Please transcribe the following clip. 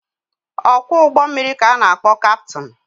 Ọkwọ ụgbọmmiri ka a na-akpọ kaptịn.